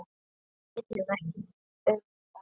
Við vitum ekkert um þetta.